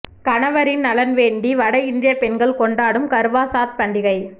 கணவரின் நலன் வேண்டி வட இந்திய பெண்கள் கொண்டாடும் கர்வா சாத் பண்டிகை